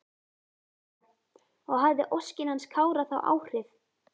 Helga: Og hafði óskin hans Kára þá áhrif?